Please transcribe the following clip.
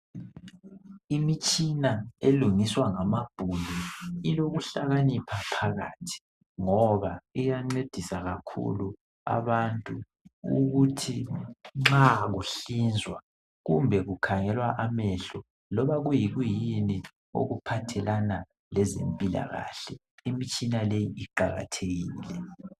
Imitshina elungiswa ngamabhunu ilokuhlakanipha phakathi ngoba iyancedisa kakhulu abantu ukuthi nxa kuhlinzwa kumbe kukhangelwa amehlo loba kuyi kuyini okuphathelana lezempilakahle imitshina le iqakathekile.